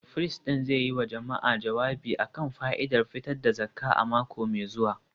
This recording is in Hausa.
firist ɗin zai yi wa jama’a jawabi a kan fa’idar fitar da zakka a mako mai zuwa